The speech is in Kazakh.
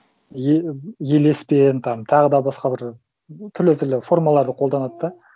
елеспен там тағы да басқа бір түрлі түрлі формаларды қолданады да